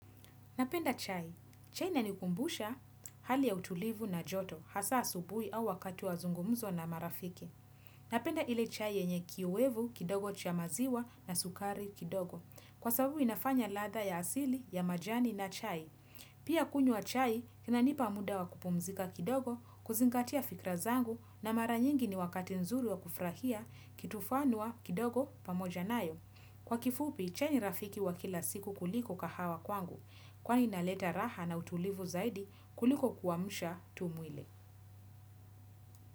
Napenda chai. Chai inanikumbusha hali ya utulivu na joto, hasa subui au wakati wa zungumzo na marafiki. Napenda ile chai yenye kiuwevu, kidogo cha maziwa na sukari kidogo. Kwa sababu inafanya ladha ya asili, ya majani na chai. Pia kunywa chai, inanipa muda wa kupumzika kidogo, kuzingatia fikra zangu na mara nyingi ni wakati nzuri wa kufurahia, kitu fanua kidogo pamoja nayo. Kwa kifupi, chai ni rafiki wa kila siku kuliko kahawa kwangu. Kwani inaleta raha na utulivu zaidi kuliko kuamsha tu mwili.